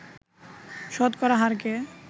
শতকরা হারকে